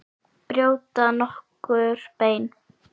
Brjóta nokkur bein?